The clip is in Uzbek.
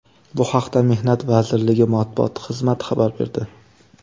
Bu haqda Mehnat vazirligi matbuot xizmati xabar berdi .